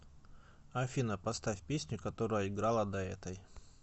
афина поставь песню которая играла до этой